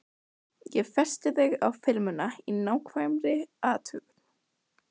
Ég festi þig á filmuna í nákvæmri athugun.